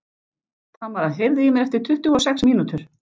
Tamara, heyrðu í mér eftir tuttugu og sex mínútur.